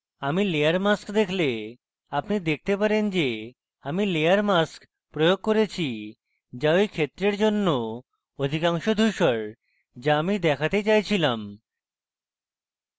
আমি layer mask দেখলে আপনি দেখতে পারেন যে আমি layer mask প্রয়োগ করেছি যা ঐ ক্ষেত্রের জন্য অধিকাংশ ধুসর যা আমি দেখাতে চাইছিলাম